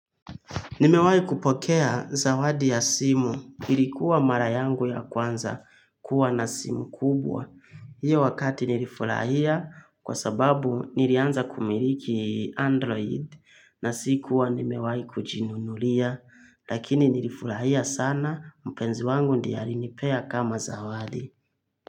Nimewahi kupokea zawadi ya simu ilikuwa mara yangu ya kwanza kuwa na simu kubwa. Hiyo wakati nilifurahia kwa sababu nilianza kumiliki android na sikuwa nimewahi kujinunulia. Lakini nilifurahia sana mpenzi wangu ndiye alinipea kama zawadi.